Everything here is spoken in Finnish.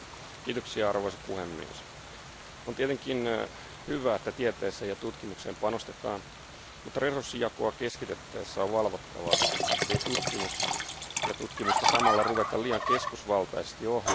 Arvoisa puhemies, on tietenkin hyvä, että tieteeseen ja tutkimukseen panostetaan, mutta resurssijakoa keskitettäessä on valvottava, ettei tutkimusta samalla ruveta liian keskusvaltaisesti ohjaamaan.